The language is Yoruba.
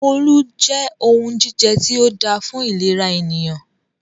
Olú jẹ́ ohun jíjẹ tí o dáa fún ìlera ènìyàn.